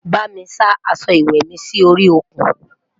bá mí sá aṣọ ìwé mí Si orí òkun